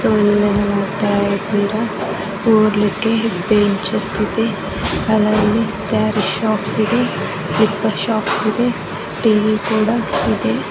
So ಇವಾಗ ನೋಡುತ್ತಾ ಇದ್ದೀರಾ ಕೂರ್ಲಿಕ್ಕೆ ಬೆಂಚ್ ಇದೆ. ಅದರಲ್ಲಿ ಸಾರಿ ಶಾಪ್ಸ್ ಇದೆ ಸ್ಲಿಪ್ಪರ್ ಶಾಪ್ಸ್ ಇದೆ ಟಿವಿ ಕೂಡಾ ಇದೆ.